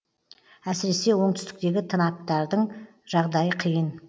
әсіресе оңтүстіктегі тынаптардың жағдайы қиын